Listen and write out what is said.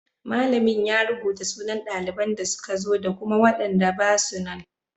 Malamin ya rubuta sunan daliban da suka zo da kuma waɗanda basu nan.